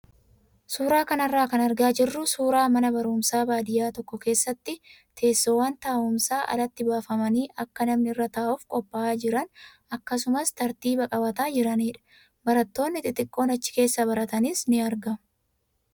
Suuraa kanarraa kan argaa jirru suuraa mana barumsaa baadiyyaa tokko keessatti teessoowwan taa'umsaa alatti baafamanii akka namni irra taa'uuf qophaa'aa jiran akkasumas tartiiba qabataa jiranidha. Barattoonni xixiqqoon achi keessa baratanis ni argamu.